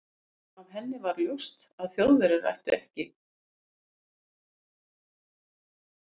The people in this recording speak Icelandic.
Af henni var ljóst, að Þjóðverjar gætu ekki sótt mikið járn til